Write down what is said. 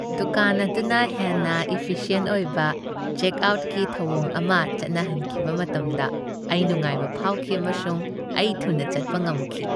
ꯗꯨꯀꯥꯟ ꯑꯗꯨꯅ ꯍꯦꯟꯅ ꯏꯐꯤꯁꯤꯑꯦꯟꯠ ꯑꯣꯏꯕ ꯆꯦꯛꯑꯥꯎꯠꯀꯤ ꯊꯧꯑꯣꯡ ꯑꯃ ꯆꯠꯅꯍꯟꯈꯤꯕ ꯃꯇꯝꯗ ꯑꯩ ꯅꯨꯡꯉꯥꯏꯕ ꯐꯥꯎꯈꯤ, ꯑꯃꯁꯨꯡ ꯑꯩ ꯊꯨꯅ ꯆꯠꯄ ꯉꯝꯈꯤ꯫